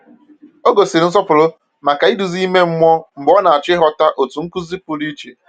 Ọ gosiri nsọpụrụ maka nduzi ime mmụọ mgbe ọ na-achọ ịghọta otu nkuzi pụrụ iche.